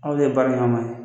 Aw de baara in kama